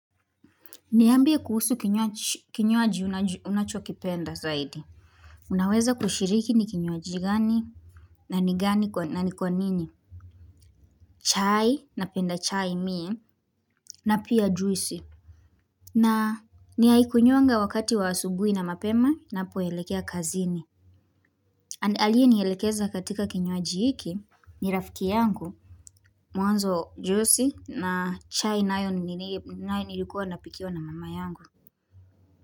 Niambie kuhusu kinywaji unachokipenda zaidi. Unaweza kushiriki ni kinywaji gani na ni gani na ni kwa nini. Chai, napenda chai mie, na pia juisi. Na naikunywanga wakati wa asubuhi na mapema ninapo elekea kazini. Aliye nielekeza katika kinywaji hiki, ni rafiki yangu, mwanzo juisi na chai nayo nilikuwa napikiwa na mama yangu.